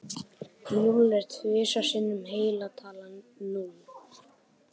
Núll er tvisvar sinnum heila talan núll.